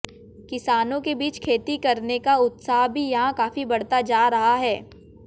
किसानों के बीच खेती करने का उतसाह भी यहां काफी बढ़ता जा रहा है